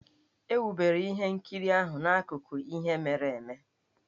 E wubere ihe nkiriahụ n'akụkọ ihe mere eme.